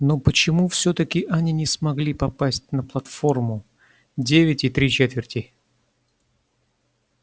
но почему всё-таки они не смогли попасть на платформу девять и три четверти